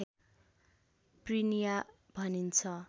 prinia भनिन्छ